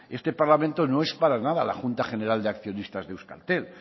este parlamento no es para nada la junta general de accionistas de euskaltel